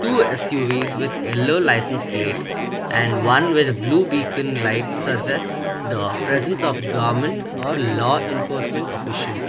we can see with yellow licence plate and one with blue beacon light suggest the presence of government or law enforcement official.